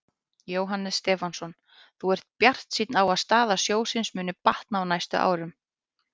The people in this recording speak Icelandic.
Jóhannes Stefánsson: Þú ert bjartsýnn á að staða sjóðsins muni batna á næstu árum?